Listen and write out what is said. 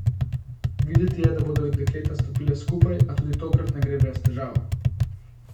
Videti je, da bodo dekleta stopila skupaj, a tudi tokrat ne gre brez težav.